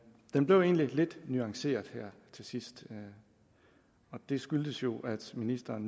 blev i lidt nuanceret her til sidst og det skyldtes jo at ministeren